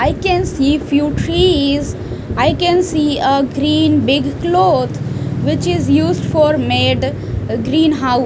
i can see few trees i can see a green big cloth which is used for made uh green hou --